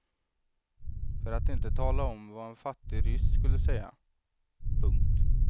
För att inte tala om vad en fattig ryss skulle säga. punkt